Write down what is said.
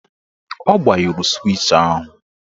Ọ gbanyụrụ swịch ahụ